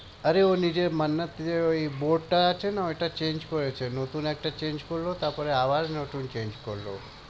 আরে ও নিজের মান্নাত যে ওই board টা আছে না ওটা change করেছে। নতুন একটা change করলো তারপরে আবার নতুন change করলো।